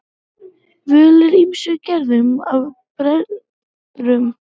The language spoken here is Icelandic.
Völ er á ýmsum gerðum af brennurum.